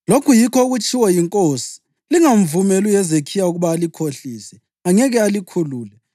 Lokhu yikho okutshiwo yinkosi: Lingamvumeli uHezekhiya ukuba alikhohlise. Angeke alikhulule.